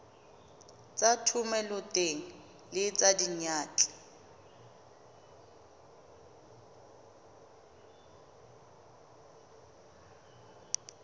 tsa thomeloteng le tsa diyantle